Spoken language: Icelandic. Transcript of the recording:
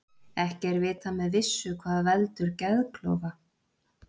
ekki er vitað með vissu hvað veldur geðklofa